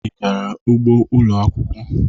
Ị gara ugbo ụlọ akwụkwọ.